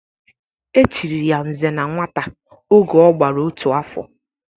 E chiri ya "Nze na Nwata" oge ọ gbara otu afọ